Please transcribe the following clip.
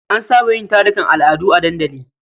An saba yin tarukan al'adu a dandali.